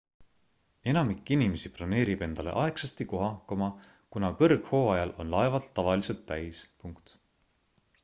enamik inimesi broneerib endale aegsasti koha kuna kõrghooajal on laevad tavaliselt täis